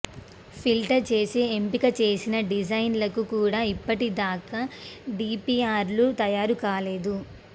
filter చేసి ఎంపిక చేసిన డిజైన్లకు కూడా ఇప్పటిదాకా డీపీఆర్ లు తయారు కాలేదు